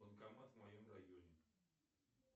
банкомат в моем районе